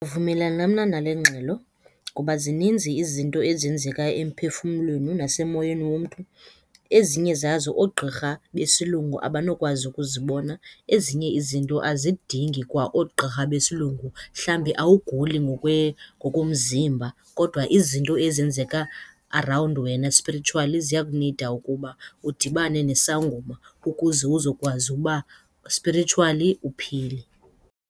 vumelana mna nale ngxelo ngoba zininzi izinto ezenzeka emphefumlweni nasemoyeni womntu, ezinye zazo oogqirha besilungu abanokwazi ukuzibona. Ezinye izinto azidingi kwa oogqirha besilungu. Mhlawumbi awuguli ngokomzimba kodwa izinto ezenzeka around wena spiritually ziyakunida ukuba udibane nesangoma ukuze uzokwazi uba spiritually uphile.